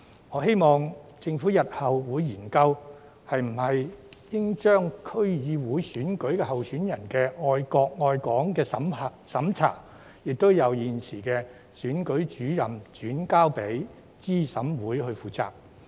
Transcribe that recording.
我希望政府日後會研究應否把區議會選舉候選人的愛國愛港審查工作，亦由現時的選舉主任轉交資審會負責。